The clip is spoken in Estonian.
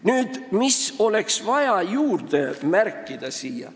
Nüüd, mida oleks vaja siia juurde märkida?